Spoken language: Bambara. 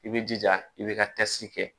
I b'i jija i bɛ ka tasi kɛ